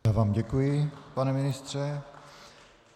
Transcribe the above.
Já vám děkuji, pane ministře.